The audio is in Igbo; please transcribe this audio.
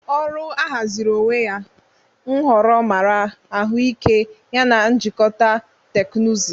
Ọrụ ahaziri onwe ya, nhọrọ mara ahụike yana njikọta teknụzụ.